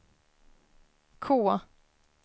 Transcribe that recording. K